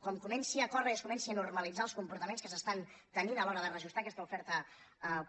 com comenci a córrer i es comencin a normalitzar els comportaments que tenen a l’hora de reajustar aquesta oferta